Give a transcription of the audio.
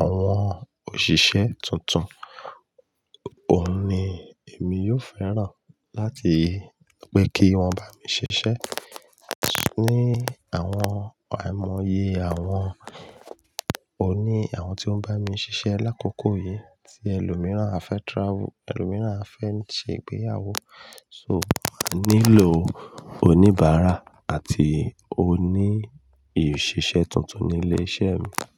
àwọn òṣìṣẹ́ tuntun, òun ni èmi yóò fẹ́ràn láti wí pé kí wọ́n bá mi ṣiṣẹ́. Àti ní àwọn àìmọye àwọn oní àwọn tí ó ń bá mi ṣiṣẹ́ lákòókò yìí tí ẹlòmíràn a fẹ́ travel, ẹlòmíràn a fẹ́ ṣe ìgbéyàwó so, máa nílò oníbàárà àti oní ìṣiṣẹ́ tuntun ní ilé iṣẹ́ mi.